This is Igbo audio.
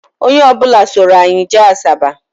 Onye ọ bụla soro anyị jee Asaba